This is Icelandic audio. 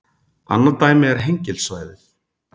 Annað dæmi er Hengilssvæðið.